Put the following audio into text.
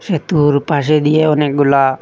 এতুর পাশে দিয়া অনেকগুলা--